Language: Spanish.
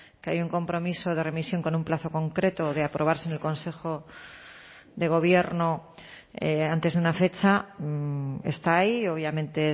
que hay un compromiso de remisión con un plazo concreto de aprobarse en el consejo de gobierno antes de una fecha está ahí obviamente